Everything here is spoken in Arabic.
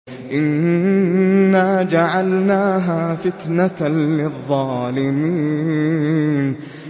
إِنَّا جَعَلْنَاهَا فِتْنَةً لِّلظَّالِمِينَ